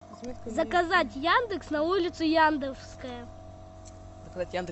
заказать яндекс на улице яндевская